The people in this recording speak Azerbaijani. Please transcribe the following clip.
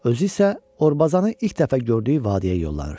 Özü isə Orbazanı ilk dəfə gördüyü vadiyə yollanır.